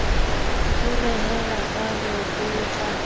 ho rehella ka ho tlotla